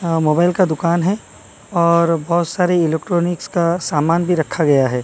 अह mobile का दुकान है और बहुत सारी इलेक्ट्रॉनिक्स का सामान भी रखा गया है।